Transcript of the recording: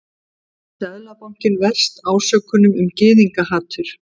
Seðlabanki verst ásökunum um gyðingahatur